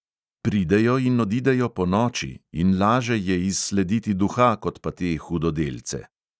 Pridejo in odidejo ponoči in laže je izslediti duha kot pa te hudodelce.